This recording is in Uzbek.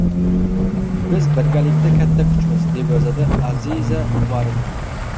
Biz birgalikda katta kuchmiz”, – deb yozadi Aziza Umarova.